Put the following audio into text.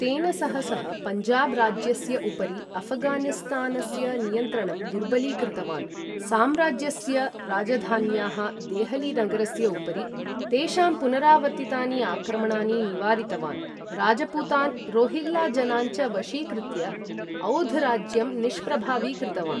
तेन सह सः, पञ्जाब् राज्यस्य उपरि अफघानिस्तानस्य नियन्त्रणम् दुर्बलीकृतवान्, साम्राज्यस्य राजधान्याः देहली नगरस्य उपरि तेषां पुनरावर्तितानि आक्रमणानि निवारितवान्, राजपूतान्, रोहिल्ला जनान् च वशीकृत्य, औध् राज्यं निष्प्रभावीकृतवान्।